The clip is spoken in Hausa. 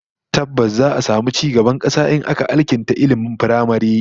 Tabbas, za'a samu ci gaban kasa in aka alkinta ilmin firamare